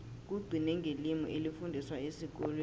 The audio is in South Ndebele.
kugcine ngelimi elifundiswa esikolweni